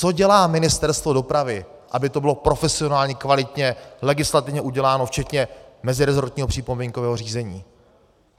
Co dělá Ministerstvo dopravy, aby to bylo profesionálně, kvalitně legislativně uděláno včetně mezirezortního připomínkového řízení.